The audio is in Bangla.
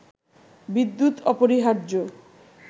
বিদ্যুৎ অপরিহার্য